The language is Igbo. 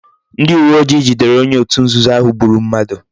Ndi uwe ojii jidere onye otu nzuzo ahu gburu mmadu